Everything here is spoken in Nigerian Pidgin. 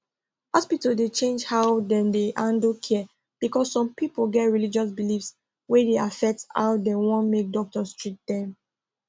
hospitals dey change how dem dey handle care because some people get religious beliefs wey dey affect how dem wan make doctors treat dem